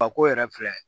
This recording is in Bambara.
Fako yɛrɛ filɛ